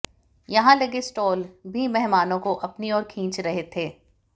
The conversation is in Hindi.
यहां लगे स्टॉल भीमेहमानों को अपनी ओर खींच रहे थे